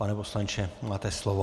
Pane poslanče, máte slovo.